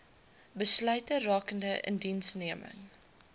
besluite rakende indiensneming